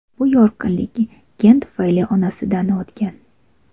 Bu yorqinlik gen tufayli onasidan o‘tgan.